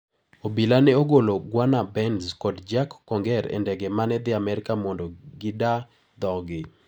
Obila ne ogolo Gunnar Bentz kod Jack Conger e ndege mane dhi Amerka mondo gida dhoggi.